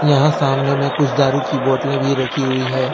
यहां सामने में कुछ दारू की बोतलें भी रखी हुई है।